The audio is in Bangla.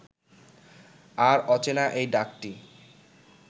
আর অচেনা এই ডাকটি